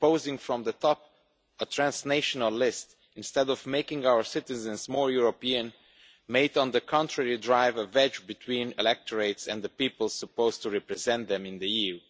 imposing from the top a transnational list instead of making our citizens more European might, on the contrary, drive a wedge between electorates and the people supposed to represent them in the EU.